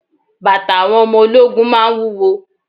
Bàtà àwọn ọmọ ológun máa ń wúwo.